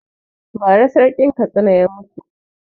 Ba ra Sarkin Katsina ya mutu